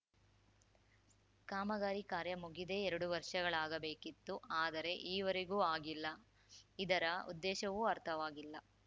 ಕಾಮಗಾರಿ ಕಾರ್ಯ ಮುಗಿದೇ ಎರಡು ವರ್ಷಗಳಾಗಬೇಕಿತ್ತು ಆದರೆ ಈವರೆಗೂ ಆಗಿಲ್ಲ ಇದರ ಉದ್ದೇಶವೂ ಅರ್ಥವಾಗಿಲ್ಲ